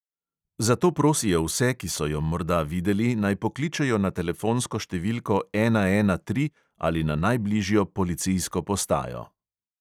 Zato prosijo vse, ki so jo morda videli, naj pokličejo na telefonsko številko ena ena tri ali na najbližjo policijsko postajo.